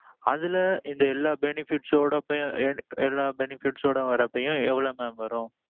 அதுல இந்த எல்லா benefits ஓடமே எல்லா benefits ஓட வர்ரப்பயும் எவ்வளவு mam வரும்.